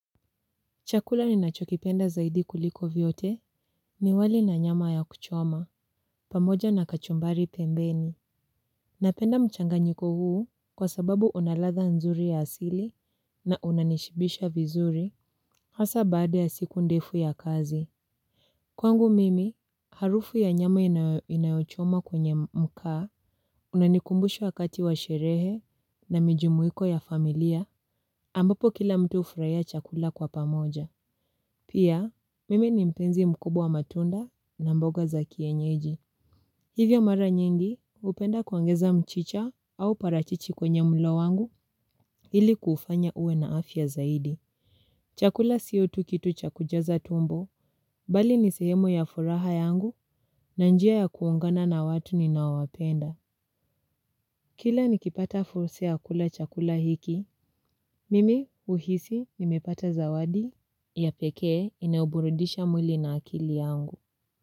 Chakula ninacho kipenda zaidi kuliko vyote ni wali na nyama ya kuchoma, pamoja na kachumbari pembeni. Napenda mchanganyiko huu kwa sababu unaladha nzuri ya asili na unanishibisha vizuri hasa baada ya siku ndefu ya kazi. Kwangu mimi, harufu ya nyama inayochomwa kwenye makaa unanikumbushu wakati wa sherehe na mijumuiko ya familia ambapo kila mtu hufurahiya chakula kwa pamoja. Pia, mimi ni mpenzi mkubwa wa matunda na mboga za kienyeji. Hivyo mara nyingi, hupenda kuongeza mchicha au parachichi kwenye mlo wangu ili kuufanya uwe na afya zaidi. Chakula sio tu kitu cha kujaza tumbo, bali ni sehemu ya furaha yangu na njia ya kuungana na watu ninaowapenda. Kila nikipata fursa ya kula chakula hiki, mimi huhisi nimepata zawadi ya pekee inayoburudisha mwili na akili yangu.